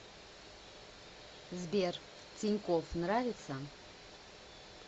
сбер тинькофф нравится